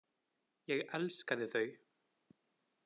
Ég elskaði þau.